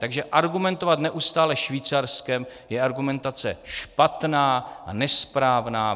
Takže argumentovat neustále Švýcarskem, je argumentace špatná a nesprávná.